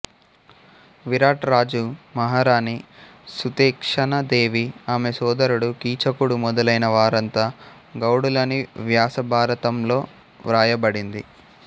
విరాట్ రాజు మహారాణి సుథేక్షణాదేవి ఆమె సోదరుడు కీచకుడు మొదలైన వారంతా గౌడులని వ్యాస భారతం లో వ్రాయబడింది